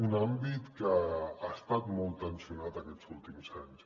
un àmbit que ha estat molt tensionat aquests últims anys